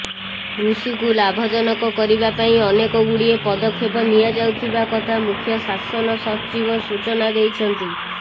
କୃଷିକୁ ଲାଭଜନକ କରିବା ପାଇଁ ଅନେକଗୁଡ଼ିଏ ପଦକ୍ଷେପ ନିଆଯାଉଥିବା କଥା ମୁଖ୍ୟ ଶାସନ ସଚିବ ସୂଚନା ଦେଇଛନ୍ତି